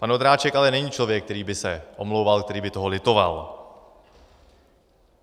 Pan Ondráček ale není člověk, který by se omlouval, který by toho litoval.